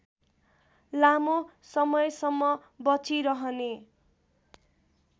लामो समयसम्म बचिरहने